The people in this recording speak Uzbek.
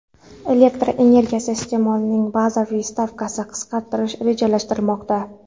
Elektr energiyasi iste’molining bazaviy stavkasini qisqartirish rejalashtirilmoqda.